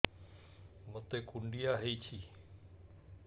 ମୋତେ କୁଣ୍ଡିଆ ହେଇଚି